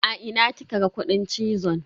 A ina kika ga kudin cizon?